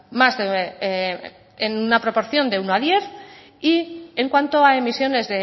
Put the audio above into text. más de en una proporción de uno a diez y en cuanto a emisiones